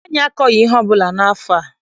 Anyị akọghị ihe ọbụla n'afọ a.